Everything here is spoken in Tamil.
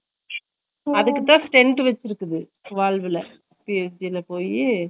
Noise அதுக்குதா இப்ப stem வெச்சிருக்கு valve ல psg ல போயி